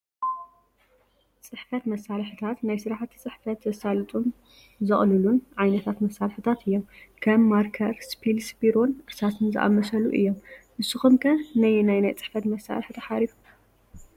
ፅሕፈት መሳርሕታት፡- ናይ ስራሕቲ ፅሕፈት ዘሳልጡልን ዘቕሉልን ዓይነታት መሳርሕታት እዮም፡፡ ከም ማርከር፣ ስፒልስ፣ ቢሮን እርሳስን ዝኣመሰሉ እዮም፡፡ ንስኹም ከ ነየናይ ናይ ፅሕፈት መሳርሒ ትሓርዩ?